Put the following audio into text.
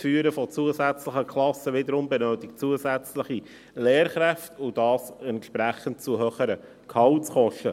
Das Führen zusätzlicher Klassen wiederum benötigt zusätzliche Lehrkräfte, und dies entspricht höheren Gehaltskosten.